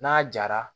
N'a jara